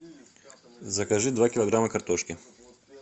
закажи два килограмма картошки